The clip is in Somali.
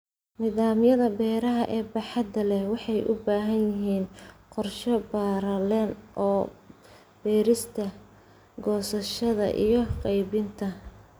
Nidaamyada beeraha ee baaxadda leh waxay u baahan yihiin qorshe ballaaran oo beerista, goosashada, iyo qaybinta.